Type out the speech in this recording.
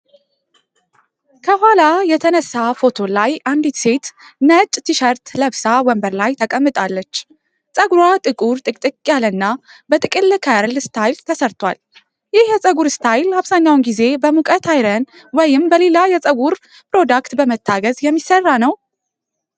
ከኋላ የተነሳ ፎቶ ላይ አንዲት ሴት ነጭ ቲ ሸርት ለብሳ ወንበር ላይ ተቀምጣለች። ጸጉሯ ጥቁር፣ ጥቅጥቅ ያለና በጥቅል ከርል ስታይል ተሰርቷል። ይህ የፀጉር ስታይል አብዛኛውን ጊዜ በሙቀት አይረን ወይም በሌላ የጸጉር ፕሮዳክት በመታገዝ የሚሰራ ነው?